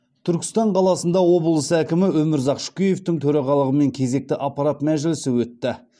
түркістан қаласында облыс әкімі өмірзақ шөкеевтің төрағалығымен кезекті аппарат мәжілісі өтті